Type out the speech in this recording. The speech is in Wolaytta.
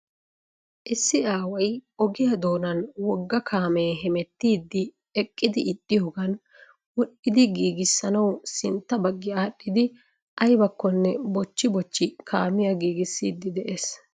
Issi aaway ogiyaa doonan wogga kaamee hemettiidi eqqidi ixxiyoogan wodhidi giigisanawu sintta baggi adhiidi aybakonne bochchi bochchi kaamiyaa giigisiidi de'ees.